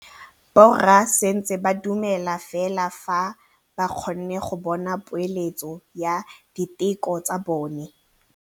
Borra saense ba dumela fela fa ba kgonne go bona poeletsô ya diteko tsa bone.